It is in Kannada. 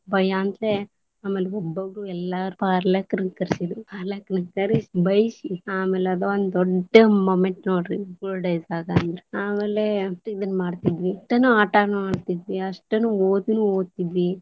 ಬೈಯಂತಲೇ ಆಮೇಲೆ ಎಲ್ಲಾ ಪಾಲಕರನ್ನ ಕರಿಸಿದ್ರು ಪಾಲಕರನ್ನ ಕರಿಸಿ ಬೈಸಿ ಆಮೇಲೆ ಅದ್ ಒಂದ್ ದೊಡ್ಡ moment ನೋಡ್ರಿ school days ದಾಗ ಅಂದ್ರ, ಆಮೇಲೆ ಇದನ್ನ ಮಾಡ್ತಿದ್ವಿ ಆಟಾನೂ ಆಡ್ತಿದ್ವಿ ಅಷ್ಟನು ಓದುನು ಒದ್ತಿದ್ವಿ.